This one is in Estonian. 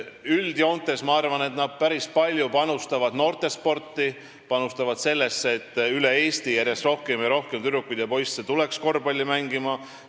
Üldjoontes ma arvan, et nad panustavad päris palju noortesporti, sh sellesse, et üle Eesti tuleks järjest rohkem ja rohkem tüdrukuid ja poisse korvpalli mängima.